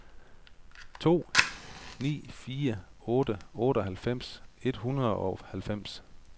to ni fire otte otteoghalvfems et hundrede og halvfems